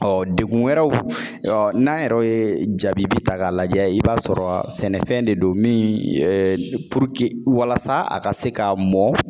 Ɔ degun wɛrɛw n'an yɛrɛ ye jaabi ta k'a lajɛ, i b'a sɔrɔ sɛnɛfɛn de don min walasa a ka se ka mɔn